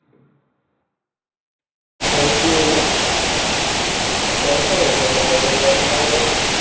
তাহলে কি হলো কয়টা হয়েছে যে এত বড়ো হয়ে গেছে